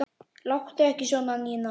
Láttu ekki svona, Nína.